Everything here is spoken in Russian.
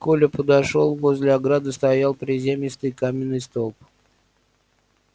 коля подошёл возле ограды стоял приземистый каменный столб